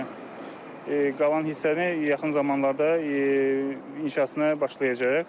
Qalan hissənin yaxın zamanlarda inşasına başlayacağıq.